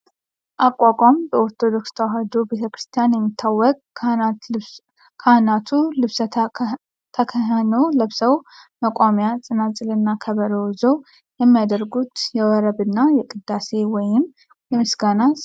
አቋቋም በኦርቶዶክስ ተዋሕዶ ቤተክርስቲያን የሚታወቅ ካህናቱ ልብሰ ተክህኖ ለብሰው መቋሚያ፣ ፅናፅል እና ከበሮ ይዘው የሚያደርጉት የወረብ እና የቅዳሴ (የምስጋና) ስርዓት ነው።